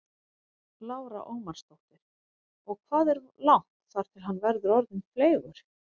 Lára Ómarsdóttir: Og hvað er langt þar til hann verður orðinn fleygur?